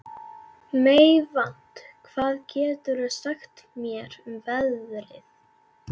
Meyvant, hvað geturðu sagt mér um veðrið?